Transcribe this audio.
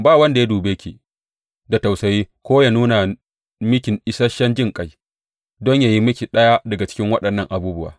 Ba wanda ya dube ki da tausayi ko ya nuna miki isashen jinƙai don yă yi miki ɗaya daga cikin waɗannan abubuwa.